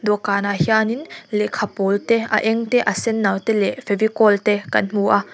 dawhkanah hianin lehkha pawl te a eng te a senno te leh fevicol te kan hmu a.